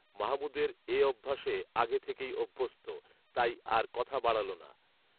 মাহমুদের এঅভ্যাসে আগে থেকেই অভ্যস্ত, তাই আর কথা বাড়ালো না